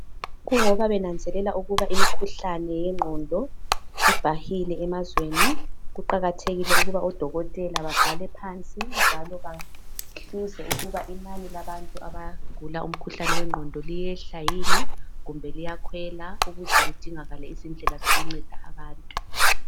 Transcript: Kungoba benanzelela ukuba imikhuhlane yengqondo ibhahile emazweni kuqakathekile ukuba odokotela babhale phansi njalo bahkuze ukuba inani labantu abagula umkhuhlane wengqondo liyehla yini kumbe liyakwela ukuze kudingakale izindlela zokunceda abantu.